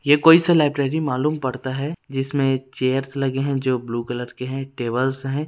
ये कोई सा लाइब्रेरी मालूम पड़ता है जिसमें चेयर्स लगे है जो ब्लू कलर के है टेबलस है।